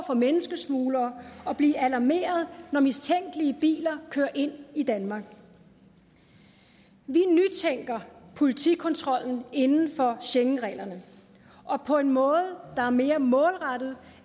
for menneskesmuglere og blive alarmeret når mistænkelige biler kører ind i danmark vi nytænker politikontrollen inden for schengenreglerne og på en måde der er mere målrettet